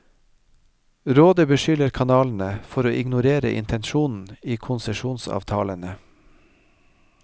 Rådet beskylder kanalene for å ignorere intensjonen i konsesjonsavtalene.